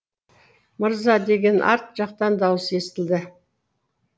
мырза деген арт жақтан дауыс естілді